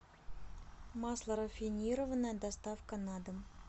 масло рафинированное доставка на дом